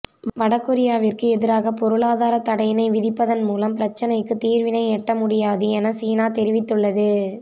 வடகொரியாவிற்கு எதிராக பொருளாதார தடையினை விதிப்பதன் மூலம் பிரச்சினைக்கு தீர்வினை எட்ட முடியாது என சீனா தெரிவித்துள்ளது